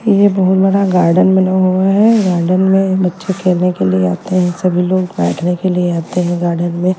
ये बहोत बड़ा गार्डन बना हुआ है गार्डन में बच्चे खेलने के लिए आते हैं सभी लोग बैठने के लिए आते हैं गार्डन में।